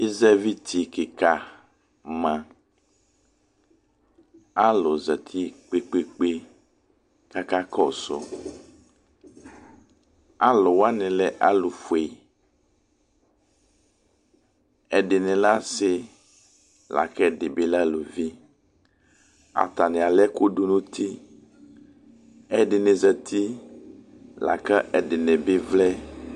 Izɛvitikikama alʊzatɩ kpekpekpe kakakɔsʊ Alʊwaɲɩ lɛ alʊƒue Ɛdiɲi lɛ asi, lakɛ ediɲi bi lɛ aluvi Ataɲi alɛkʊdʊ ɲuti Ɛdiɲɩ zati, lakʊ ɛdiɲibɩ vlɛ